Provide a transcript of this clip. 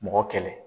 Mɔgɔ kɛlɛ